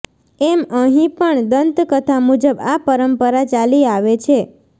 એમ અહીં પણ દંતકથા મુજબ આ પરંપરા ચાલી આવે છે